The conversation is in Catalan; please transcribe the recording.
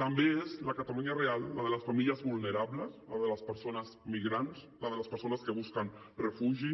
també és la catalunya real la de les famílies vulnerables la de les persones migrants la de les persones que busquen refugi